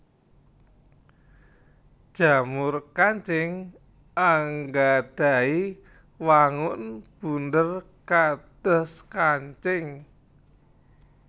Jamur kancing anggadhahi wangun bunder kados kancing